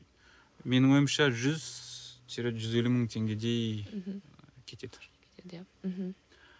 менің ойымша жүз тире жүз елу мың теңгедей мхм кетеді кетеді иә мхм